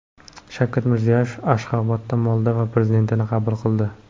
Shavkat Mirziyoyev Ashxobodda Moldova prezidentini qabul qildi.